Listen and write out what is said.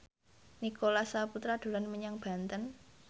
Nicholas Saputra dolan menyang Banten